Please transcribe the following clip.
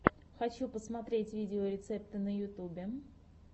хочу посмотреть видеорецепты на ютьюбе